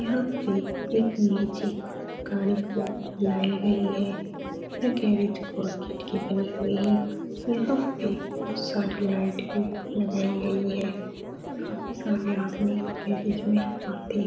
यहाँ पे एक मैजिक गाड़ी को लाई गई है। यह गेरेज की बनी हुई है यहाँ पे बहुत सारी लाइट भी लगाई गई है। काफी सारे आदमी गेराज में आते --